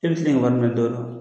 I bi se kɛ nin wari minɛ dɔ dɔ